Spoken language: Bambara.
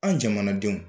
An jamanadenw